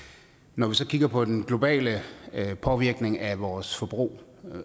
når vi så kigger på den globale påvirkning af vores forbrug